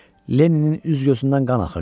Lenninin üz-gözündən qan axırdı.